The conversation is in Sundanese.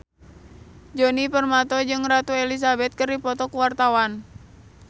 Djoni Permato jeung Ratu Elizabeth keur dipoto ku wartawan